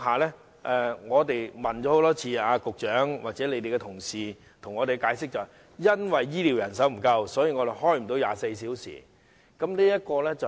因此，我們多次向局長或局方的同事查問，他們的解釋是醫療人手不足，所以無法開設24小時門診服務。